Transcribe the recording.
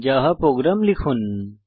ইঙ্গিত ifএলসে স্টেটমেন্টের ব্যবহার